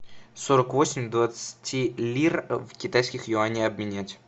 сорок восемь двадцати лир в китайских юани обменять